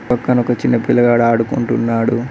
పక్కన ఒక చిన్న పిల్లగాడు ఆడుకుంటున్నాడు.